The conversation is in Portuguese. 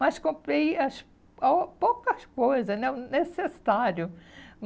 Mas comprei as a poucas coisas né o necessário.